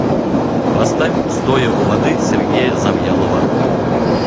поставь стоя у воды сергея завьялова